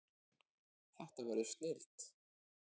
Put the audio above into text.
Þetta verður snilld